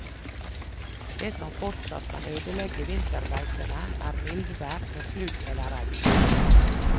Det som fortsatt kan ødelegge vinterbeitene, er mildvær med sludd eller regn.